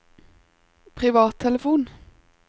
privattelefon